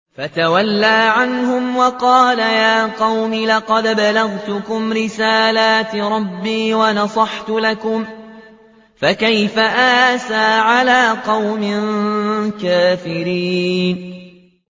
فَتَوَلَّىٰ عَنْهُمْ وَقَالَ يَا قَوْمِ لَقَدْ أَبْلَغْتُكُمْ رِسَالَاتِ رَبِّي وَنَصَحْتُ لَكُمْ ۖ فَكَيْفَ آسَىٰ عَلَىٰ قَوْمٍ كَافِرِينَ